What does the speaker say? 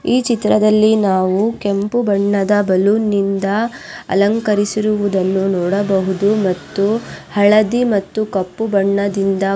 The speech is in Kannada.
ಈ ಚಿತ್ರದಲ್ಲಿ ನಾವು ಕೆಂಪು ಬಣ್ಣದ ಬಲೂನ್ಯಿಂದ ಅಲಂಕರಿಸಿರುವುದನ್ನು ನೋಡಬಹುದು ಮತ್ತು ಹಳದಿ ಮತ್ತು ಕಪ್ಪು ಬಣ್ಣದಿಂದ--